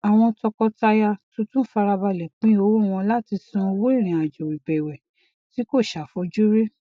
àwọn tọkọtaya tuntun farabale pin owó wọn láti san owó irinajo ìbẹwẹ tí kò ṣàfojúrí